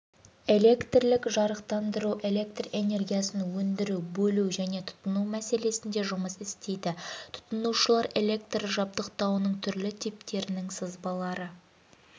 электрлік жарықтандыру электроэнергиясын өндіру бөлу және тұтыну мәселесінде жұмыс істейді тұтынушылар электр жабдықтауының түрлі типтерінің сызбалары